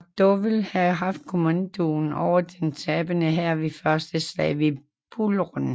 McDowell havde haft kommandoen over den tabende hær ved Første slag ved Bull Run